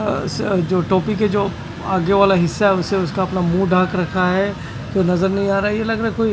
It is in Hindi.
अ स जो टोपी के जो आगे वाला हिस्सा उसे उसका अपना मुंह ढाक रखा है जो नजर नहीं आ रहा ये लग रहा है कोई--